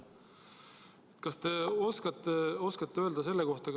Lugupeetud ettekandja!